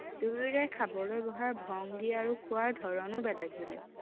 দুয়োৰে খাবলৈ বহাৰ ভংগী আৰু খোৱাৰ ধৰণো বেলেগ বেলেগ